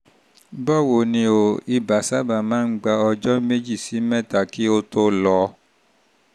báwo ni o? ibà sábà máa ń gba ọjọ́ méjì um sí mẹ́ta kí ó tó lọ